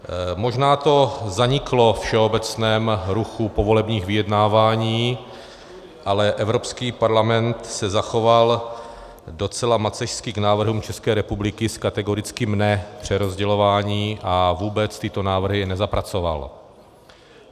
Možná to zaniklo ve všeobecném ruchu povolebních vyjednávání, ale Evropský parlament se zachoval docela macešsky k návrhům České republiky s kategorickým "ne přerozdělování" a vůbec tyto návrhy nezapracoval.